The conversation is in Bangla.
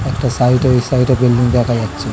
একটা সাইড -এ ওই সাইড -এ বিল্ডিং দেখা যাচ্ছে।